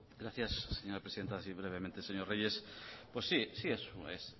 gracias señora presidenta brevemente pues sí sí es